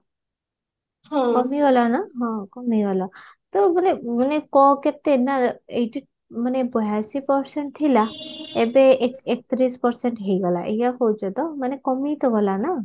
କମିଗଲା ନା ହଁ କମିଗଲା ତ ମାନେ ମାନେ କଣ କେତେ ନା ଏଇଠି ମାନେ ବୟାଅଶି percent ଥିଲା ଏବେ ଏ ଏକତିରିଶ percent ହେଇଗଲା ଏଇଆ କହୁଛ ତ ମାନେ କମି ତ ଗଲା ନା